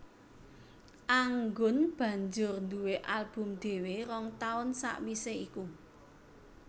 Anggun banjur nduwé album dhéwé rong taun sawisé iku